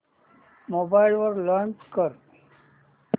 mobile वर launch कर